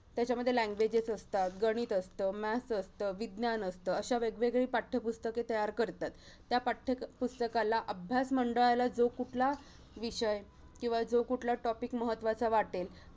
त्याच्यामध्ये languages असतात, गणित असतं, maths असतं, विज्ञान असतं. अशा वेगवेगळी पाठ्यपुस्तके तयार करतात. त्या पाठ्यपुस्तकाला अभ्यास मंडळाला जो कुठला विषय किंवा जो कुठला topic महत्त्वाचा वाटेल